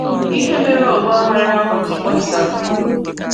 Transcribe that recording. Íhè mere ọ̀gbàághàrà ahụ ji gbàsàa.